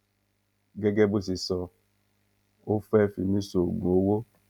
gẹ́gẹ́ bó ṣe sọ ó fẹ́ fi mí ṣoògùn owó